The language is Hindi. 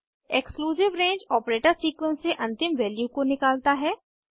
एक्सक्लूसिव रंगे ऑपरेटर सीक्वेंस से अंतिम वैल्यू को निकालता है